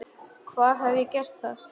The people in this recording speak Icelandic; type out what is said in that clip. Hvar hef ég gert það?